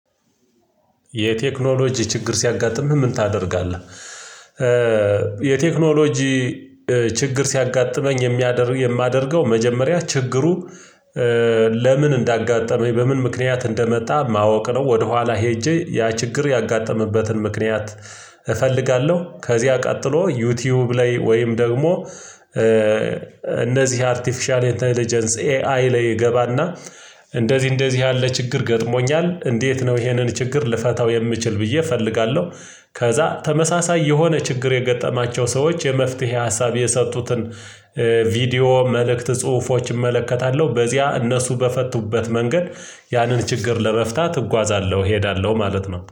የቴክኖሎጂ ችግር ሲያጋጥምህ ምን ታደርጋለህ? የቴክኖሎጂ ችግር ሲያጋጥመኝ የማደርገው መጀመሪያ ችግሩ ለምን እንዳጋጠመኝ በምን ምክንያት እንደመጣ ማወቅ ነው ወደኋላ ሄጄ ያ ችግር ያጋጠመበትን ምክንያት እፈልጋለሁ ከዚያ ቀጥሎ ዩቲዩብ ላይ ወይም ደግሞ እነዚህ አርቲፊሻል ኤጀንስ ኤአይ ላይ ይገባና እንደዚህ እንደዚህ ያለ ችግር ገድሞኛል እንዴት ነው ይሄንን ችግር ልፈታው የምችል ብዬ እፈልጋለሁ ከዛ ተመሳሳይ የሆነ ችግር የገጠማቸው ሰዎች የመፍትሄ ሀሳብ የሰጡትን ቪዲዮ መልእክት ጽሁፎች እመለከታለሁ በዚያ እነሱ በፈቱበት መንገድ ያንን ችግር ለመፍታት እጓዛለሁ እሄዳለሁ ማለት ነው